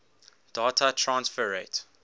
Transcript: data transfer rate